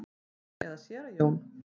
Jón eða séra Jón?